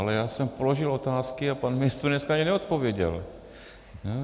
Ale já jsem položil otázky a pan ministr dneska ani neodpověděl.